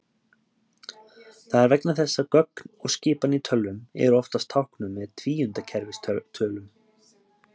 Það er vegna þess að gögn og skipanir í tölvum eru oftast táknuð með tvíundakerfistölum.